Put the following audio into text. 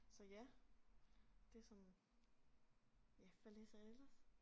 Så ja det sådan ja hvad læser jeg ellers